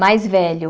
Mais velho.